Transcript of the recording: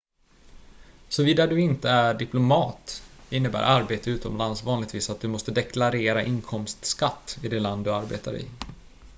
såvida du inte är diplomat innebär arbete utomlands vanligtvis att du måste deklarera inkomstskatt i det land du arbetar i